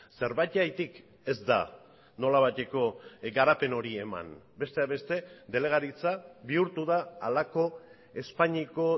zerbaitegatik ez da nolabaiteko garapen hori eman besteak beste delegaritza bihurtu da halako espainiako